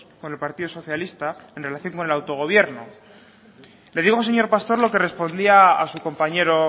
con el partido socialista en relación con el autogobierno le digo señor pastor lo que respondía a su compañero